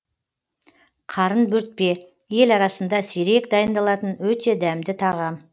қарын бөртпе ел арасында сирек дайындалатын өте дәмді тағам